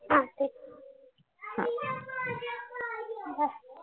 हा ठीक